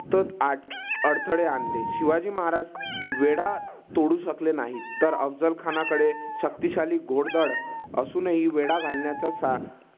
अडथळे आणले. शिवाजी महाराज वेढा तोडू शकले नाहीत. तर अफझल खानाकडे शक्तिशाली घोडदळ असून हि वेढा घालण्यापेक्षा